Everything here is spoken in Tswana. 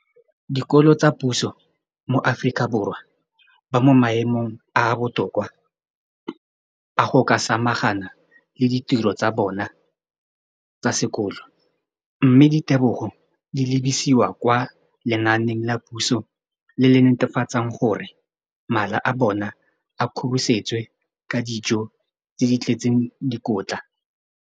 Dikolo tsa puso mo Aforika Borwa ba mo maemong a a botoka a go ka samagana le ditiro tsa bona tsa sekolo, mme ditebogo di lebisiwa kwa lenaaneng la puso le le netefatsang gore mala a bona a kgorisitswe ka dijo tse di tletseng dikotla.